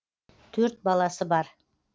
төрт баласы бар